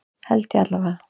Held ég allavega.